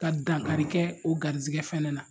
Ka dankarikɛ o garisɛgɛ fɛnɛ na